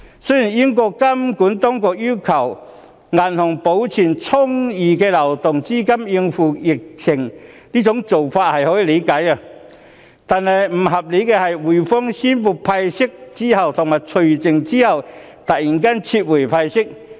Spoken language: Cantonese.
雖然英國監管當局要求銀行保存充裕的流動資金應付疫情的做法可以理解，但不合理的是滙豐銀行宣布派息及除淨後突然撤回派息。